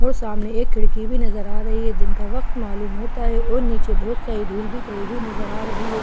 और सामने एक खिड़की भी नजर आ रही है दिन का वक्त मालूम होता है और नीचे बहुत सारी धूल भी पड़ी हुई नजर आ रही है।